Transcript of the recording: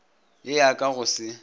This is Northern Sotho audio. ye ya ka go se